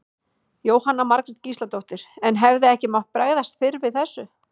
Jóhanna Margrét Gísladóttir: En hefði ekki mátt bregðast fyrr við þessu?